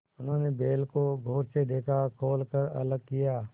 उन्होंने बैल को गौर से देखा खोल कर अलग किया